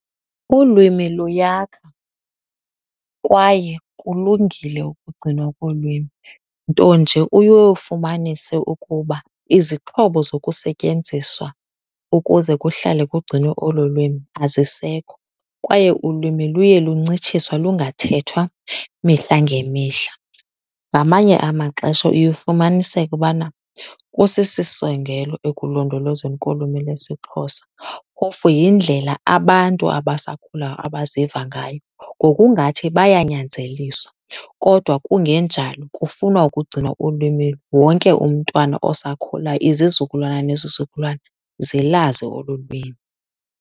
Ulwimi luyakha kwaye kulungile ukugcinwa kolwimi, nto nje uye ufumanise ukuba izixhobo zokusetyenziswa ukuze kuhlale kugcinwe olo lwimi azisekho kwaye ulwimi luye luncitshiswa lungathethwa mihla ngemihla. Ngamanye amaxesha uye ufumaniseke ubana kusisisongelo ekulondolozweni kolwimi lwesiXhosa. Phofu yindlela abantu abasakhulayo abaziva ngayo ngokungathi bayanyanzeliswa kodwa kungenjalo kufunwa ukugcinwa ulwimi wonke umntwana osakhulayo, izizukulwana nezizukulwana zilazi olu lwimi.